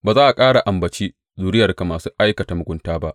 Ba za a ƙara ambaci zuriyarka masu aikata mugunta ba.